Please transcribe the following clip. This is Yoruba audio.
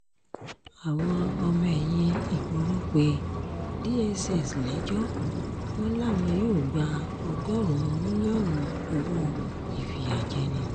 àwọn ọmọ ẹ̀yìn ìgboro pé dss lẹ́jọ́ wọn làwọn yóò gba ọgọ́rùn-ún mílíọ̀nù owó ìfìyàjẹni